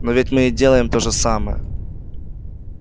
но ведь мы и делаем тоже самое